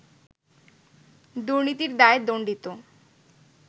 দুর্নীতির দায়ে দণ্ডিত